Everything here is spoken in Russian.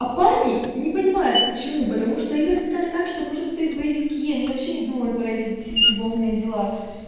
а парни не понимают почему потому что их воспитали так что нужно смотреть боевики они вообще не думаю про это любовные дела